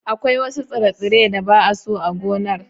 Akwai wasu tsire-tsire da ba'a so a gonar.